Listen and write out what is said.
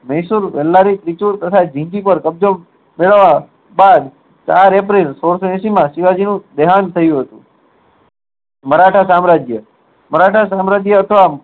મેળવા ત્યાર ચાર april સોળસો માં શિવાજી નું દેહાંત થયું હતું મરાઠા સામ્રાજ્ય મરાઠા સામ્રાજ્ય હતું આમ